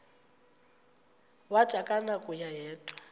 wathi akunakuya wedw